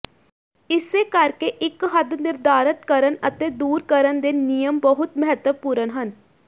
ਇਸੇ ਕਰਕੇ ਇਕ ਹੱਦ ਨਿਰਧਾਰਤ ਕਰਨ ਅਤੇ ਦੂਰ ਕਰਨ ਦੇ ਨਿਯਮ ਬਹੁਤ ਮਹੱਤਵਪੂਰਨ ਹਨ